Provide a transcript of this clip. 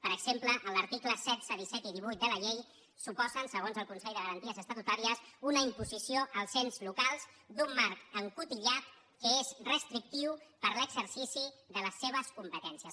per exemple els articles setze disset i divuit de la llei suposen segons el consell de garanties estatutàries una imposició als ens locals d’un marc encotillat que és restrictiu per a l’exercici de les seves competències